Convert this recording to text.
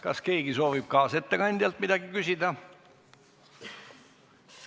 Kas keegi soovib kaasettekandjalt midagi küsida?